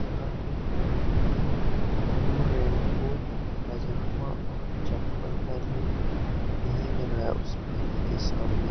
एक व्यक्ति blue raincoat पजामा और चप्पल पहने हुए भींग रहा है उस पानी के सामने--